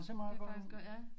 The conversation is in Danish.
Det faktisk godt ja